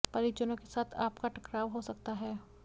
परिजनों के साथ आपका टकराव हो सकता है